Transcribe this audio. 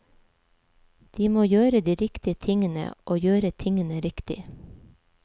De må gjøre de riktige tingene og gjøre tingene riktig.